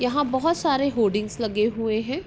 यहा बोहत सारे होडिंग लगे हुए है।